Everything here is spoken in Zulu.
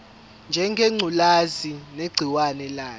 ngengculazi negciwane layo